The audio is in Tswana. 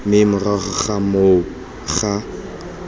mme morago ga moo ga